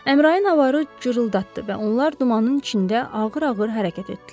Əmrain avarı cırıldatdı və onlar dumanın içində ağır-ağır hərəkət etdilər.